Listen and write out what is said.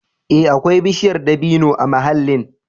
Ee, akwai bishiyar dabino a mahallin.